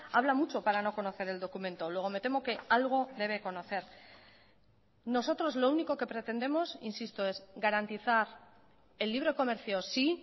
habla mucho para no conocer el documento luego me temo que algo debe conocer nosotros lo único que pretendemos insisto es garantizar el libre comercio sí